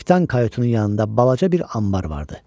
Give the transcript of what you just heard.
Kapitan Kayutun yanında balaca bir anbar vardı.